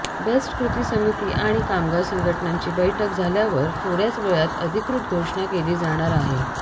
best कृती समिती आणि कामगार संघटनांची बैठक झाल्यावर थोड्याच वेळात अधिकृत घोषणा केली जाणार आहे